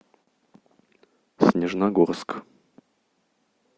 снежногорск